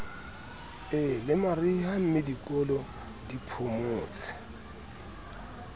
e lemariha mmedikolo di phomotse